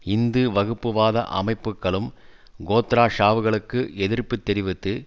இந்து வகுப்புவாத அமைப்புக்களும் கோத்ரா சாவுகளுக்கு எதிர்ப்பு தெரிவித்து